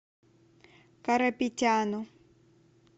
карапетяну